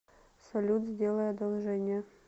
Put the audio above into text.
салют сделай одолжение